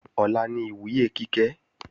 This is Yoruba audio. Ọ̀la ni ìwúyè Kíkẹ́